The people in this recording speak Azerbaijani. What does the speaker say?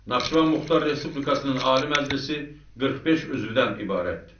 Naxçıvan Muxtar Respublikasının Ali Məclisi 45 üvzdən ibarətdir.